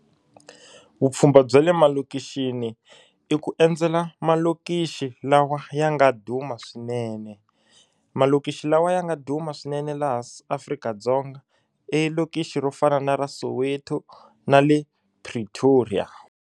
Vupfhumba bya le malokixini i ku endzela malokixi lawa ya nga duma swinene malokixi lawa ya nga duma swinene laha Afrika-Dzonga i lokixi ro fana na ra Soweto na le Pretoria.